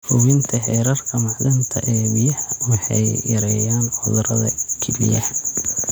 Hubinta heerarka macdanta ee biyaha waxay yareeyaan cudurrada kelyaha.